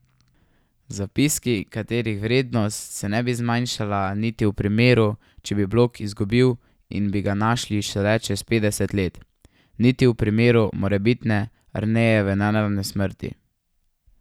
Zapiski, katerih vrednost se ne bi zmanjšala niti v primeru, če bi blok izgubil in bi ga našli šele čez petdeset let, niti v primeru morebitne Arnejeve nenadne smrti.